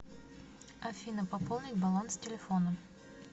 афина пополнить баланс телефона